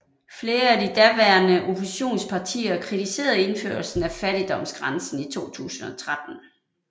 Flere af de daværende oppositionspartier kritiserede indførelsen af fattigdomsgrænsen i 2013